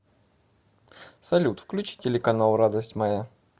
салют включи телеканал радость моя